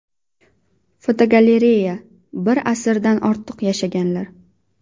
Fotogalereya: Bir asrdan ortiq yashaganlar.